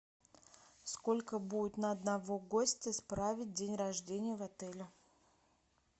сколько будет на одного гостя справить день рождения в отеле